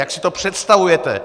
Jak si to představujete.